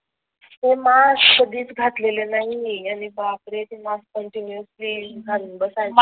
मी mask कधीच घातलेला नाही आणि बापरे ते मास्क कंटिन्यूअस घालून बसायचं